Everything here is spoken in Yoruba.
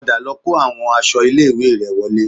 Padà lọ kó àwọn aṣọ ilé-ìwé rẹ wọlé